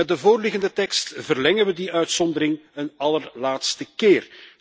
Met de voorliggende tekst verlengen we die uitzondering een allerlaatste keer.